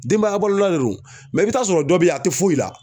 Denbaya balolan de don i bi taa'a sɔrɔ dɔ be ye a te foyi la.